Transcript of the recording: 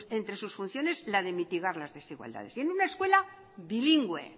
entre sus funciones la de mitigar las desigualdades en una escuela bilingüe